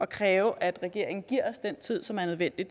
kræve at regeringen giver os den tid som er nødvendig